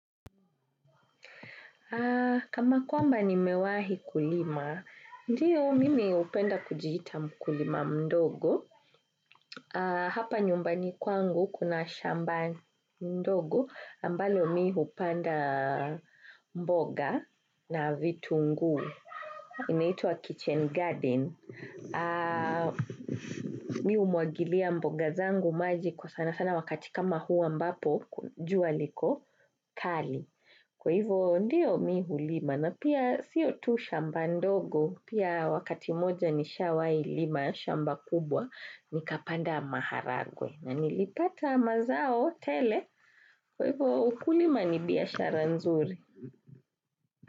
Kama kwamba ni mewahi kulima, ndio mimi hupenda kujiita mkulima mdogo. Hapa nyumbani kwangu kuna shamba ndogo, ambalo mihupanda mboga na vitunguu. Inaitwa kitchen garden. Mi humwagilia mboga zangu maji kwa sana sana wakati kama huu ambapo, jua liko kali. Kwa hivo ndio mihulima na pia siyo tu shamba ndogo pia wakati moja ni shawahi lima shamba kubwa nikapanda maharagwe na nilipata mazao tele kwa hivo ukulima ni biashara nzuri.